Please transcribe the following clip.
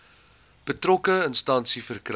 betrokke instansie verkry